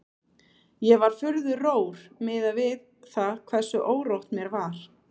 Ég var furðu rór miðað við það hversu órótt mér var.